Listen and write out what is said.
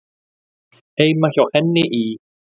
Heima hjá henni í